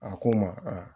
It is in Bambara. A ko n ma a